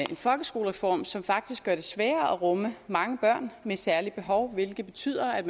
en folkeskolereform som faktisk gør det sværere at rumme mange børn med særlige behov hvilket betyder at